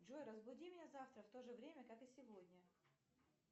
джой разбуди меня завтра в то же время как и сегодня